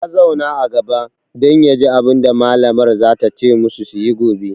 Ya zauna a gaba dan yaji abunda malamar za ta ce musu suyi gobe